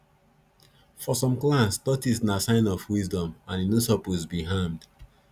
for some clans tortoise na sign of wisdom and e no suppose be harmed